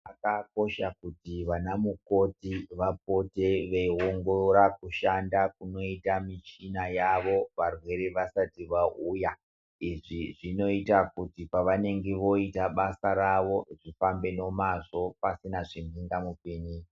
Zvakakosha kuti vana mukoti vapote veiongirora kushanda kunoita michina yavo varwere vasati vauya izvi zvinoita kuti pavanenge voita basa ravo rifambe nomazvo pasina zvimhunga mupinyi.